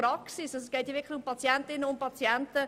Das betrifft konkret die Patientinnen und Patienten.